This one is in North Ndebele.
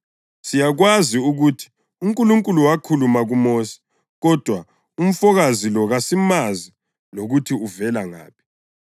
Siyakwazi ukuthi uNkulunkulu wakhuluma kuMosi, kodwa umfokazi lo kasimazi lokuthi uvela ngaphi.”